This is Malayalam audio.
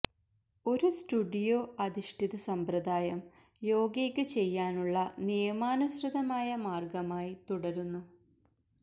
ഒരു സ്റ്റുഡിയോ അധിഷ്ഠിത സമ്പ്രദായം യോഗയ്ക്ക് ചെയ്യാനുള്ള നിയമാനുസൃതമായ മാർഗ്ഗമായി തുടരുന്നു